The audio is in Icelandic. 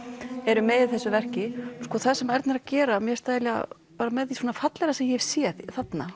eru með í þessu verki það sem Erna er að gera er með því fallegra sem ég hef séð þarna